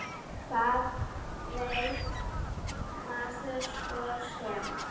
Hvað veit maður svo sem.